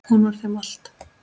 Hún var þeim allt.